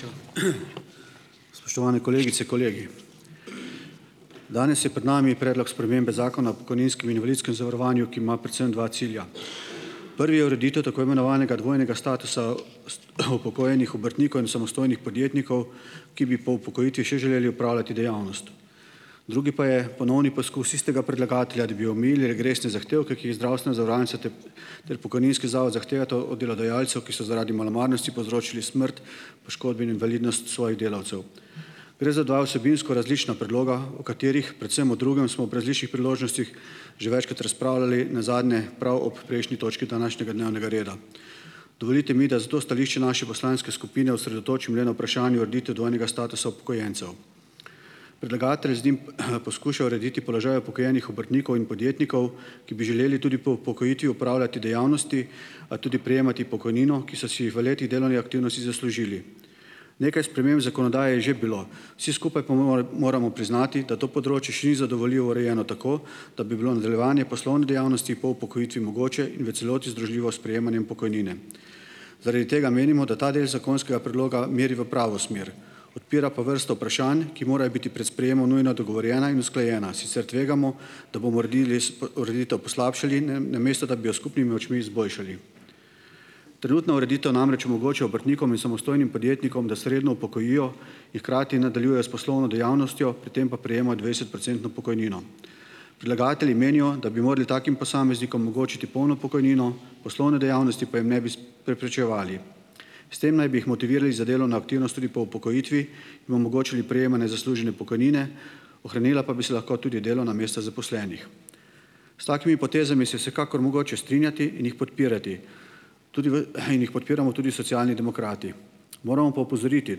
Hvala, predsedujoča. Spoštovane kolegice, kolegi. Danes je pred nami Predlog spremembe Zakona o pokojninskem in invalidskem zavarovanju, ki ima predvsem dva cilja. Prvi je ureditev tako imenovanega dvojnega statusa upokojenih obrtnikov in samostojnih podjetnikov, ki bi po upokojitvi še želeli opravljati dejavnost. Drugi pa je ponovni poskus istega predlagatelja, da bi omejili regresne zahtevke, ki jih zdravstvena zavarovalnica ter ter pokojninski zavod zahtevata od delodajalcev, ki so zaradi malomarnosti povzročili smrt, poškodbe in invalidnost svojih delavcev. Gre za dva vsebinsko različna predloga, o katerih, predvsem o drugem, smo ob različnih priložnostih že večkrat razpravljali, nazadnje prav ob prejšnji točki današnjega dnevnega reda. Dovolite mi, da zato stališče naše poslanske skupine osredotočim le na vprašanje ureditev dvojnega statusa upokojencev. Predlagatelj z njim, poskuša urediti položaj upokojenih obrtnikov in podjetnikov, ki bi želeli tudi po upokojitvi opravljati dejavnosti, a tudi prejemati pokojnino, ki so si jih v letih delovne aktivnosti zaslužili. Nekaj sprememb zakonodaje je že bilo, vsi skupaj pa moramo priznati, da to področje še ni zadovoljivo urejeno tako, da bi bilo nadaljevanje poslovne dejavnosti po upokojitvi mogoče in v celoti združljivo s prejemanjem pokojnine. Zaradi tega menimo, da ta del zakonskega predloga meri v pravo smer, odpira pa vrsto vprašanj, ki morajo biti prej sprejemom nujno dogovorjena in usklajena, sicer tvegamo, da bomo uredili ureditev poslabšali, namesto da bi jo s skupnimi močmi izboljšali. Trenutna ureditev namreč omogoča obrtnikom in samostojnim podjetnikom, da se redno upokojijo in hkrati nadaljujejo s poslovno dejavnostjo, pri tem pa prejemajo dvajsetprocentno pokojnino. Predlagatelji menijo, da bi morali takim posameznikom omogočiti polno pokojnino, poslovne dejavnosti pa jim ne bi preprečevali. S tem naj bi jih motivirali za delovno aktivnost tudi po upokojitvi, jim omogočili prejemanje zaslužene pokojnine, ohranila pa bi se lahko tudi delovna mesta zaposlenih. S takimi potezami se je vsekakor mogoče strinjati in jih podpirati tudi v, in jih podpiramo tudi Socialni demokrati. Moramo pa opozoriti,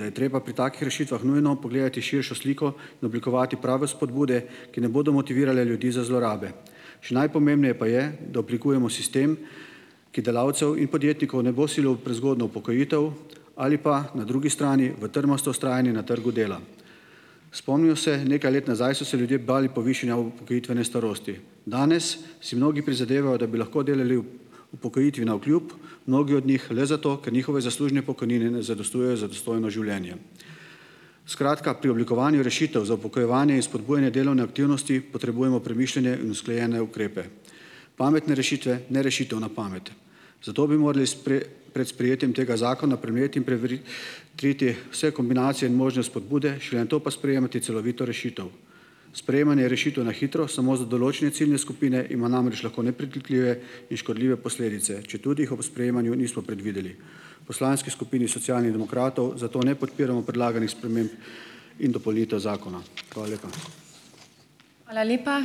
da je treba pri takih rešitvah nujno pogledati širšo sliko in oblikovati prave spodbude, ki ne bodo motivirale ljudi za zlorabe. Še najpomembneje pa je, da oblikujemo sistem, ki delavcev in podjetnikov ne bo silil v prezgodnjo upokojitev ali pa na drugi strani v trmasto vztrajanje na trgu dela. Spomnimo se, nekaj let nazaj so se ljudje bali povišanja upokojitvene starosti, danes si mnogi prizadevajo, da bi lahko delali upokojitvi navkljub, mnogi od njih le zato, ker njihove zaslužne pokojnine ne zadostujejo za dostojno življenje. Skratka, pri oblikovanju rešitev za upokojevanje in spodbujanje delovne aktivnosti potrebujemo premišljene in usklajene ukrepe, pametne rešitve, ne rešitev na pamet. Zato bi morali pred sprejetjem tega zakona premleti in triti vse kombinacije in možne spodbude, šele nato pa sprejemati celovito rešitev. Sprejemanje rešitev na hitro samo za določene ciljne skupine ima namreč lahko nepredvidljive in škodljive posledice, četudi jih ob sprejemanju nismo predvideli. V poslanski skupini Socialnih demokratov zato ne podpiramo predlaganih sprememb in dopolnitev zakona. Hvala lepa.